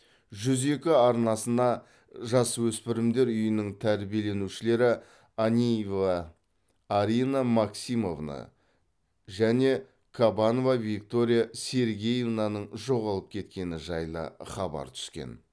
жүз екі арнасына жасөспірімдер үйінің тәрбиеленушілері аниева арина максимовна мен кабанова виктория сергеевнаның жоғалып кеткені жайлы хабар түскен